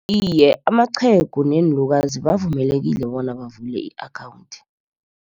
Iye, amaqhegu neenlukazi bavumelekile bona bavule i-akhawunthi.